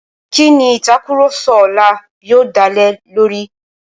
Kí ni ìtàkurọ̀sọ ọlá yóò dá lé lórí?